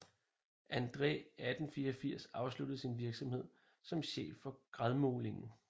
Andræ 1884 afsluttede sin virksomhed som chef for Gradmålingen